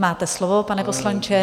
Máte slovo, pane poslanče.